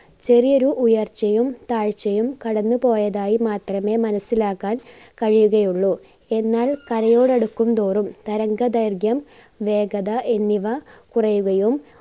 ചെറിയൊരു ഉയർച്ചയും താഴ്ചയും കടന്ന് പോയതായി മാത്രമേ മനസ്സിലാക്കാൻ കഴിയുകയുള്ളു. എന്നാൽ കരയോട് അടുക്കും തോറും തരംഗ ദൈർഘ്യം വേഗത എന്നിവ കുറയുകയും